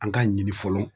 An k'a ɲini fɔlɔ